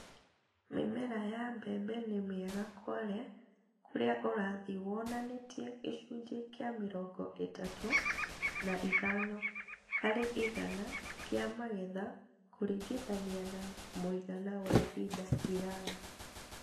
Mĩmera ya mbembe nĩ mĩega Kwale kũrĩa ũrathi wonanĩtie gĩcunjĩ kĩa mĩrongo ĩtatũ na ithano harĩ igana kĩa magetha kũringithania na mũigana wa ihinda iraya